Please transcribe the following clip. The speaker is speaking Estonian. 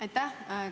Aitäh!